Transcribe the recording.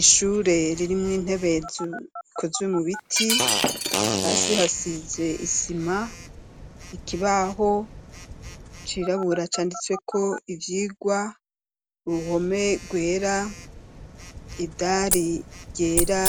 Ishure ririmwo intebe zikozwe mu biti, hasi hasize isima, ikibaho cirabura canditsweko ivyigwa, uruhome rwera, idari ryera,